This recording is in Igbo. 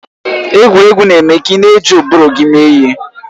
Egwuregwu na-eme ka ị na-eji ụbụrụ gị mee ihe.